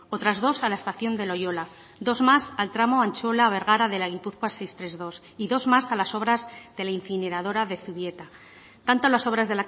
otras dos a la estación de loiola dos más al tramo antzuola bergara de la gi seiscientos treinta y dos y dos más a las obras de la incineradora de zubieta tanto las obras